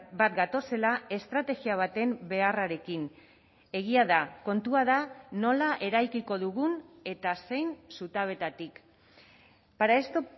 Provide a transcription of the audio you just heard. bat gatozela estrategia baten beharrarekin egia da kontua da nola eraikiko dugun eta zein zutabetatik para esto